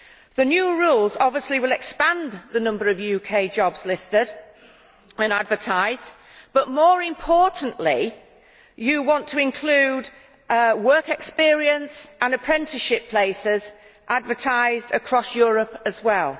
The new rules obviously will expand the number of UK jobs listed and advertised, but more importantly, the EU wants to include work experience and apprenticeship places advertised across Europe as well.